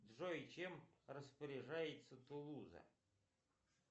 джой чем распоряжается тулуза